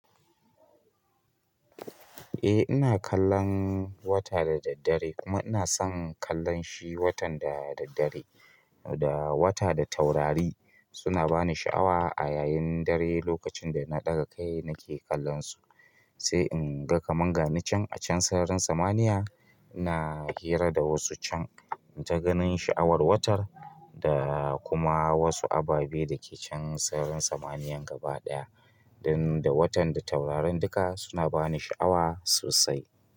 Eh ina kallon wata da daddare kuma ina son kallon shi watan da daddare da wata da taurari suna bani sha'awa a yayin dare lokacin da na ɗaga kai nake kallon su. Sai in ga kaman gani can a can sararin samaniya, ina hira da wasu can in ta ganin sha'awar watar da kuma wasu ababe dake can sararin samaniyan gaba ɗaya. Dan da watan da taurarin duka suna bani sha'awa sosai.